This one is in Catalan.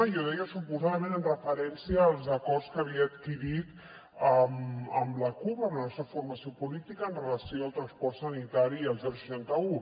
i ho deia suposadament en referència als acords que havia adquirit amb la cup amb la nostra formació política amb relació al transport sanitari i al seixanta un